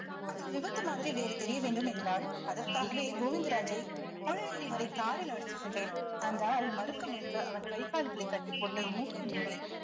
அது விபத்து மாதிரி வேறு தெரிய வேண்டும் என்றாள் அதற்காகவே கோவிந்தராஜை தொழிலதிபரை காரில் அழைத்து சென்றேன் அந்தாள் மறுக்க மறுக்க அவன் கை கால்களை கட்டிப்போட்டு மூக்கை மூடி